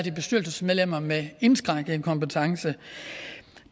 er bestyrelsesmedlemmer med indskrænkede kompetencer